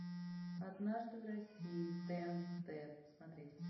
однажды в россии тнт смотреть